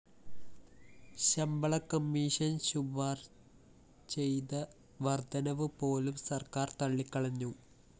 ശമ്പള കമ്മീഷൻ ശുപാര്‍ ചെയ്ത വര്‍ധനവ് പോലും സര്‍ക്കാര്‍ തള്ളിക്കളഞ്ഞു